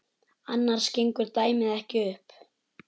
Annars gengur dæmið ekki upp.